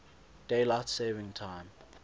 daylight saving time